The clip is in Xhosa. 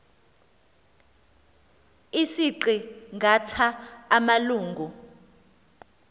isiqi ngatha samalungu